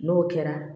N'o kɛra